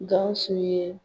GAWUSU ye.